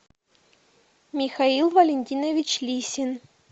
михаил валентинович лисин